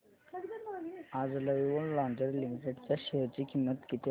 आज lovable lingerie limited च्या share ची किंमत किती आहे